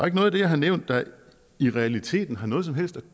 ikke noget i det jeg har nævnt der i realiteten har noget som helst at